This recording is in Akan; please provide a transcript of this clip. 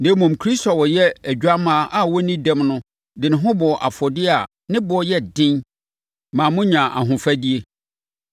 Na mmom Kristo a ɔyɛ odwammaa a ɔnni dɛm no de ne ho bɔɔ afɔdeɛ a ne boɔ yɛ den ma monyaa ahofadie.